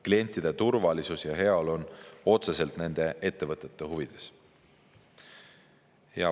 Klientide turvalisus ja heaolu on otseselt nende ettevõtete huvides.